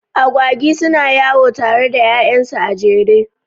Agwagi suna yawo tare da ƴaƴansu a jere.